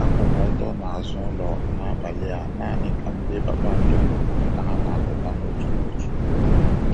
Akwụ m ọtọ n'azụ ụlọ n'abali a naanị ka m lee kpakpando ka ha na-apụta n'otu n'otu.